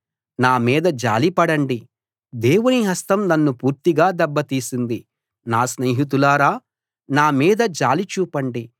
నా మీద జాలి పడండి దేవుని హస్తం నన్ను పూర్తిగా దెబ్బతీసింది నా స్నేహితులారా నా మీద జాలి చూపండి